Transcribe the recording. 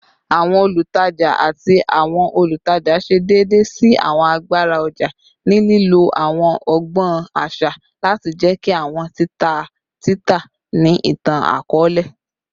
Awọn olutaja ati awọn olutaja ṣe deede si awọn agbara ọja ni lilo awọn ọgbọn aṣa lati jẹki awọn tita tita ni itan-akọọlẹ